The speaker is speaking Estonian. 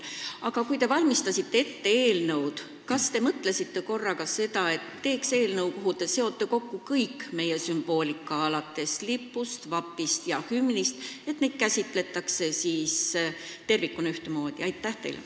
Aga kui te seda eelnõu ette valmistasite, kas te mõtlesite ka selle peale, et teeks sellise eelnõu, kus te seote kokku kogu meie sümboolika, alates lipust, vapist ja hümnist, et neid tervikuna ühtemoodi käsitletaks?